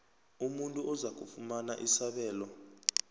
umuntu ozakufumana isabelo